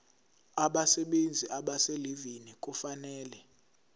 abasebenzi abaselivini kufanele